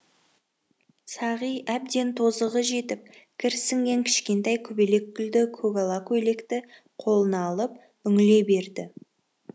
сағи әбден тозығы жетіп кір сіңген кішкентай көбелек гүлді көгала көйлекті қолына алып үңіле берді